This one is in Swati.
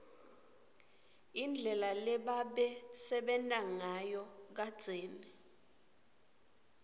indlela lebabesenta nsayo kadzeni